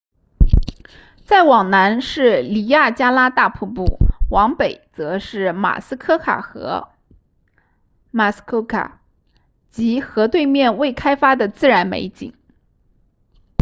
再往南是尼亚加拉大瀑布往北则是马斯科卡河 muskoka 及河对面未开发的自然美景